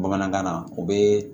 Bamanankan na o bɛ